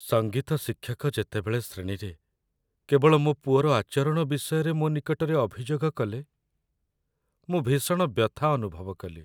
ସଙ୍ଗୀତ ଶିକ୍ଷକ ଯେତେବେଳେ ଶ୍ରେଣୀରେ କେବଳ ମୋ ପୁଅର ଆଚରଣ ବିଷୟରେ ମୋ ନିକଟରେ ଅଭିଯୋଗ କଲେ, ମୁଁ ଭୀଷଣ ବ୍ୟଥା ଅନୁଭବ କଲି।